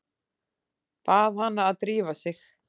Bað hana að drífa sig.